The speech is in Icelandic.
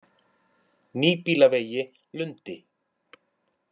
Nýbýlavegi Lundi